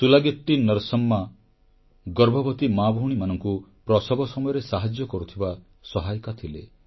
ସୁଲାଗିଟ୍ଟି ନରସମ୍ମା ଗର୍ଭବତୀ ମାଭଉଣୀମାନଙ୍କୁ ପ୍ରସବ ସମୟରେ ସାହାଯ୍ୟ କରୁଥିବା ସହାୟିକା ଥିଲେ